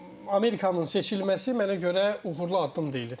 Amerikanın seçilməsi mənə görə uğurlu addım deyildir.